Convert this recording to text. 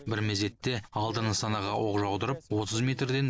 бір мезетте алты нысанаға оқ жаудырып отыз метрден